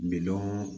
Bidɔn